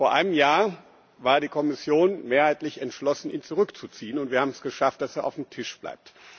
Vor einem Jahr war die Kommission mehrheitlich entschlossen, ihn zurückzuziehen, und wir haben es geschafft, dass er auf dem Tisch bleibt.